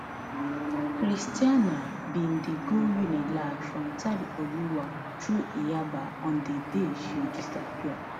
christianah bin dey go unilag from ita oluwa through yaba on di day she disappear